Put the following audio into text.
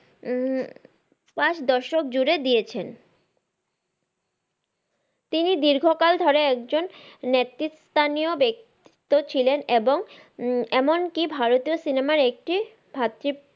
উম পাচ দশক জুড়ে দিয়েছেন তিনি দীর্ঘকাল ধরে একজন নেত্রী স্থানীয় ব্যক্তিত্ব ছিলেন এবং এমনকি ভারতীয় সিনেমার একটি